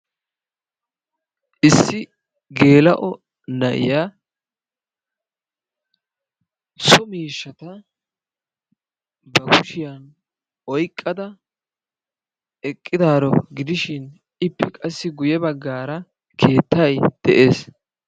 Issi geelao naiya so miishshata ba kushsiyan oyqqada eqqidaaro gidishshin ippe qassi guye baggaara keettay de'ees.